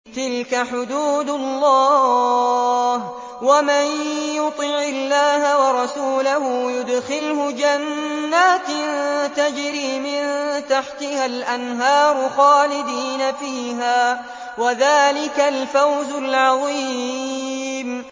تِلْكَ حُدُودُ اللَّهِ ۚ وَمَن يُطِعِ اللَّهَ وَرَسُولَهُ يُدْخِلْهُ جَنَّاتٍ تَجْرِي مِن تَحْتِهَا الْأَنْهَارُ خَالِدِينَ فِيهَا ۚ وَذَٰلِكَ الْفَوْزُ الْعَظِيمُ